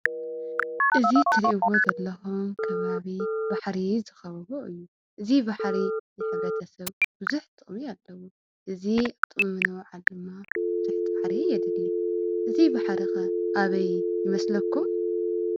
እዚ ትሪእዎ ዘለኩም ከባቢ ባሕሪ ዝኸበቦ እዩ። እዚ ባሕሪ ንሕብረተሰብ ብዙሕ ጥቕሚ አለዎ። እዚ ኣብ ጥቕሚ ንምውዓል ድማ ብዙሕ ፃዕሪ የድሊ። እዚ ባሕሪ ከ አበይ ይመስለኩም!